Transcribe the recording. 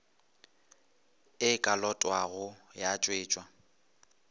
e ka lotwago ya tšwetšwa